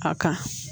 A kan